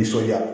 Nisɔndiya